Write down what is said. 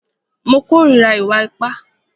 Mo kòrira ìwà ipá.